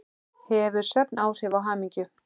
Hefur svefn áhrif á hamingju?